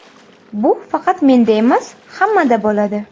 Bu faqat menda emas, hammada bo‘ladi.